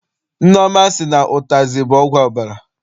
Nneọma sị na ụtazị bụ ọgwụ ọbara.